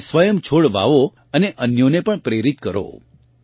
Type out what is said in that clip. તમે સ્વયં છોડ વાવો અને અન્યોને પણ પ્રેરિત કરો